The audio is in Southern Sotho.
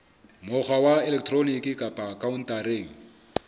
mokgwa wa elektroniki kapa khaontareng